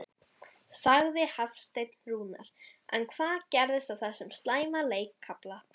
sagði Hafsteinn Rúnar en hvað gerðist á þessum slæma leikkafla?